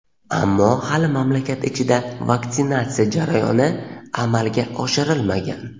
ammo hali mamlakat ichida vaksinatsiya jarayoni amalga oshirilmagan.